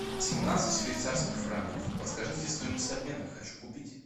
семнадцать швейцарских франков подскажите стоимость обмена хочу купить